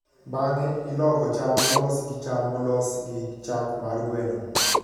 Bang'e, iloko cham molos gi cham molos gi chak mar gweno.